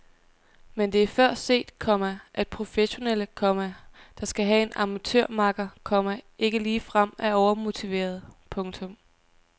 Men det er før set, komma at professionelle, komma der skal have en amatørmakker, komma ikke ligefrem er overmotiverede. punktum